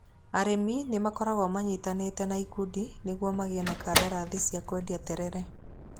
Arĩmi nĩ magĩrĩirwo manyitane na ikundi nĩguo magĩe na kandarathi cia kwendia terere.